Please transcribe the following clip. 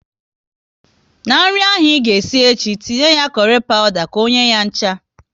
Na nri ahụ ị ga esi echi, tinye kurry pawuda ka ọ nye ya ncha!